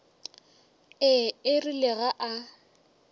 ee e rile ge a